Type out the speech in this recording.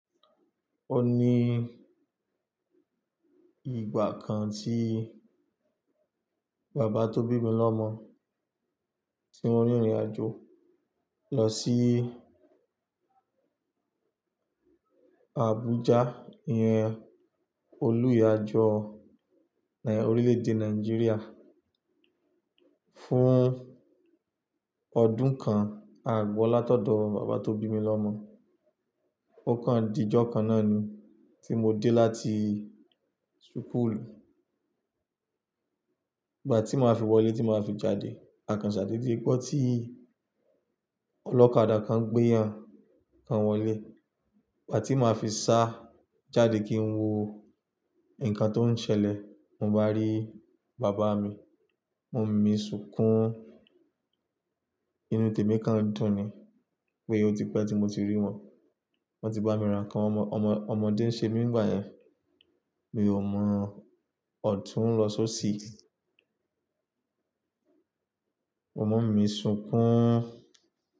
Ó ní ìgbà kan tí bàbá tó bí mi lọ́mọ, tí wọ́n rìnrìn àjò lọ sí Abuja, ìhín Olú ìyàjọ orílẹ̀-èdè Nàìjíríà fún ọdún kan àgbọ́ látọ̀dọ̀ bàbá tó bí mi lọ́mọ. Ó kan ìdí jọ kan náà ni tí mo dé láti sùkù. Ìgbà tí màá fi wọlé tí màá fi jáde, a kan ṣàdédé bọ̀ tí ọlọ́kadà kan gbéyàn kan wọlé. Ìgbà tí màá fi sá jáde kí n wo nǹkan tó ń ṣẹlẹ̀, mo bá rí bàbá mi, mo mi ṣunkún nínú tèmi kan dùn ni pé ó ti pẹ́ tí mo ti rí wọn. Wọ́n ti bá mi ra nǹkan ọmọdé ń ṣe mi nígbà yẹn, mi ò mọ ọ̀tún lọ só sí. Mo mi ṣunkún.